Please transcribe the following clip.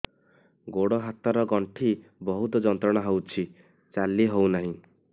ଗୋଡ଼ ହାତ ର ଗଣ୍ଠି ବହୁତ ଯନ୍ତ୍ରଣା ହଉଛି ଚାଲି ହଉନାହିଁ